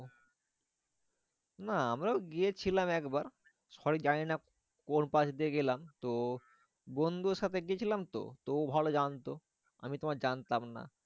না আমরাও গিয়েছিলাম একবার। সঠিক জানি না কোন পাশ দিয়ে গেলাম। তো বন্ধুর সাথে গেছিলাম তো, তো ও ভালো জানতো। আমি তোমার জানতাম না।